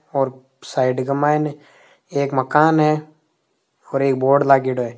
अब साइड के मायने एक मकान है और एक बोर्ड लाग्योड़ो है।